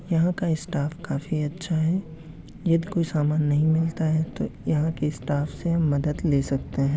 यहाँ का स्टाफ़ काफी अच्छा है। यदि कोई समान नहीं मिलता है तो यहाँ के स्टाफ से मदद ले सकते हैं।